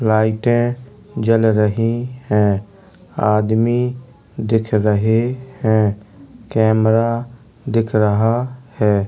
लाइटें जल रही हैं | आदमी दिख रहे हैं | कैमरा दिख रहा है |